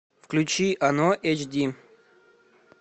включи оно эйч ди